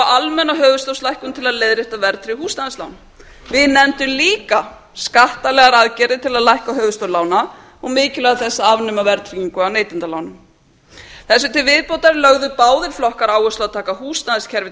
almenna höfuðstólslækkun til að leiðrétta verðtryggð húsnæðislán við nefndum líka skattalegar aðgerðir til að lækka höfuðstól lána og mikilvægi þess að afnema verðtryggingu af neytendalánum þessu til viðbótar lögðu báðir flokkar áherslu á að taka húsnæðiskerfið